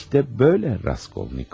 İşte böyle, Raskolnikov.